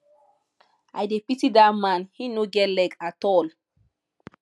i dey pity dat man he no get leg at all